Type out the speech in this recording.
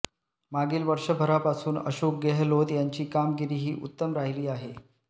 मागील वर्षभरापासून अशोक गेहलोत यांची कामगिरी ही उत्तम राहिली आहे